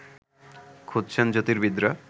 খুঁজছেন জ্যোতির্বিদরা